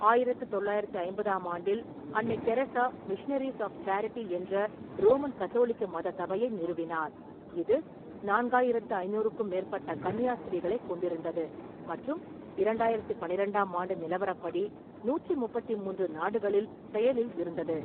ஆயிரத்து தொள்ளாயிரத்து ஐம்பதாம் ஆண்டில், அன்னை தெரசா மிஷனரீஸ் ஆஃப் சேரிட்டி என்ற ரோமன் கத்தோலிக்க மத சபையை நிறுவினார், இது நான்காயிரத்து ஐநூறுக்கும் மேற்பட்ட கன்னியாஸ்திரிகளைக் கொண்டிருந்தது மற்றும் இரண்டாயிரத்து பன்னிரெண்டாம் ஆண்டு நிலவரப்படி நூற்றி முப்பத்தி மூன்று நாடுகளில் செயலில் இருந்தது.